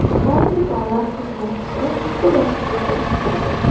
Har bir davlat xizmatchisi bitta dasturda ishlaydi.